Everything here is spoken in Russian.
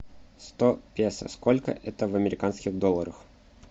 сто песо сколько это в американских долларах